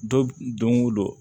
Don o don